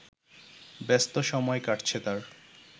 ব্যস্ত সময় কাটছে তাঁর